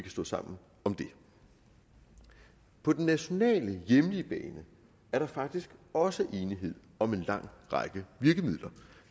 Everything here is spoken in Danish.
stå sammen om det på den nationale hjemlige bane er der faktisk også enighed om en lang række virkemidler